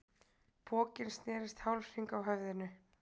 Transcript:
Pokinn snerist hálfhring á höfðinu.